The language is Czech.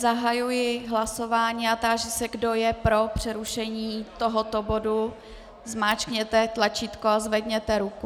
Zahajuji hlasování a táži se, kdo je pro přerušení tohoto bodu, zmáčkněte tlačítko a zvedněte ruku.